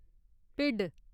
भिड्ढ